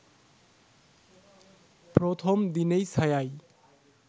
প্রথম দিনেই ছায়ায়